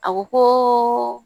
A ko ko